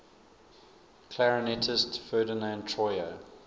clarinetist ferdinand troyer